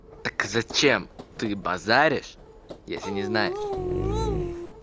так зачем ты базаришь если не знаешь